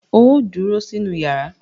Óò dúró sínú yàrá!